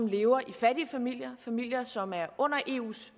lever i fattige familier familier som er under eus